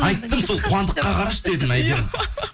айттым сол қуандыққа қарашы дедім әйгерім